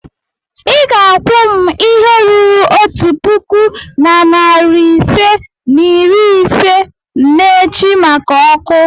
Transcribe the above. ị ga-akwụ m ihe ruru otu puku na narị ise na iri ise n'echi maka ọkụ.